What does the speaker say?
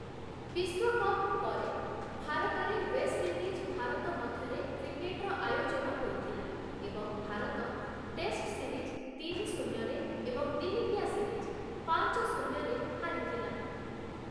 ବିଶ୍ୱକପ୍ ପରେ, ଭାରତରେ ୱେଷ୍ଟଇଣ୍ଡିଜ୍‌-ଭାରତ ମଧ୍ୟରେ କ୍ରିକେଟର ଆୟୋଜନ ହୋଇଥିଲା ଏବଂ ଭାରତ ଟେଷ୍ଟ ସିରିଜ୍ ତିନି-ଶୂନ୍ୟ ରେ ଏବଂ ଦିନିକିଆ ସିରିଜ୍ ପାଞ୍ଚ- ଶୂନ୍ୟ ରେ ହାରିଥିଲା ।